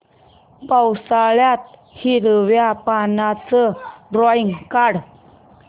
पावसाळ्यातलं हिरव्या पानाचं ड्रॉइंग काढ